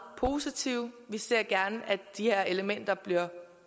positive vi ser gerne at de her elementer